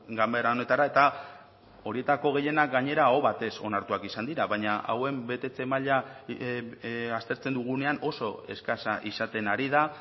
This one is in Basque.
ganbera honetara eta horietako gehienak gainera aho batez onartuak izan dira baina hauen betetze maila aztertzen dugunean oso eskasa izaten ari da